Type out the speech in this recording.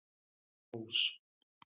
Rós